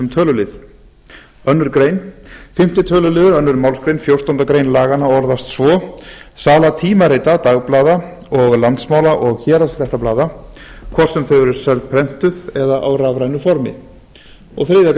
tölulið annarrar greinar fimmta tölu annarri málsgrein fjórtándu greinar laganna orðast svo sala tímarita dagblaða og landsmála og héraðsfréttablaða hvort sem þau eru seld prentuð eða á rafrænu formi og þriðju